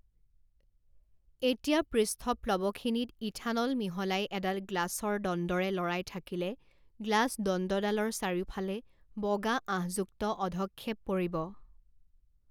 এতিয়া পৃষ্ঠপ্লৱখিনিত ইথানল মিহলাই এডাল গ্লাছৰ দণ্ডৰে লৰাই থাকিলে গ্লাছ দণ্ডডালৰ চাৰিওফালে বগা আহঁযুক্ত অধক্ষেপ পৰিব।